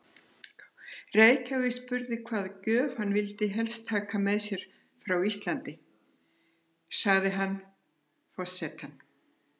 Reykjavík spurði hvaða gjöf hann vildi helst taka með sér frá Íslandi, sagði hann: Forsetann